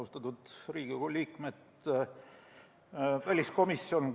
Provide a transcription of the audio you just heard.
Austatud Riigikogu liikmed!